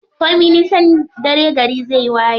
Komin nisan dare gari zai waye.